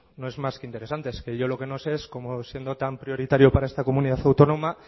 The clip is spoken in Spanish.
no es más que interesante es que yo lo que no sé es cómo siendo tan prioritario para esta comunidad autónoma